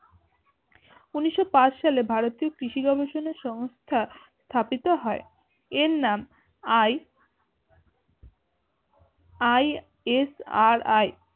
ঊনিশো পাঁচ সালে ভারতীয় কৃষি ব্যবসানার সংস্থা স্থাপিত হয় এর নাম আই ISRI